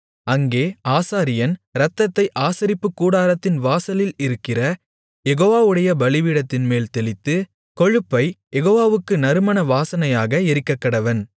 அங்கே ஆசாரியன் இரத்தத்தை ஆசரிப்புக்கூடாரத்தின் வாசலில் இருக்கிற யெகோவாவுடைய பலிபீடத்தின்மேல் தெளித்து கொழுப்பைக் யெகோவாவுக்கு நறுமண வாசனையாக எரிக்கக்கடவன்